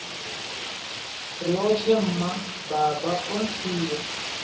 riotshe mma baba o ntsia